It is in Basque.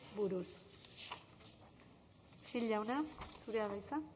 buruz gil jauna zurea da hitza